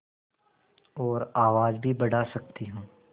और आवाज़ भी बढ़ा सकती हूँ